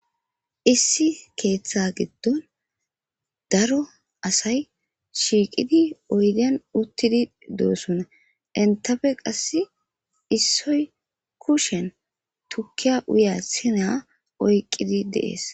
issi keeththa giddon daro asay shiiqidi oydiyan uttidi doossonna entafe qass issoy kushen tukkiya uya sina oyqqidi deees